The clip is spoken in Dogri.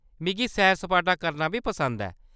मिगी सैर-सपाटा करना बी पसंद ऐ।